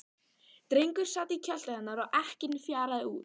Drengur sat í kjöltu hennar og ekkinn fjaraði út.